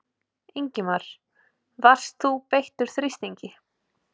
Ingimar: Varst þú beittur þrýstingi?